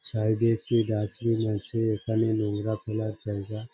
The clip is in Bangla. সাইড -এ একটি ডাস্টবিন আছে। এখানে নোংরা ফেলার জায়গা।